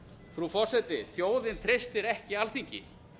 frú forseti þjóðin treystir ekki alþingi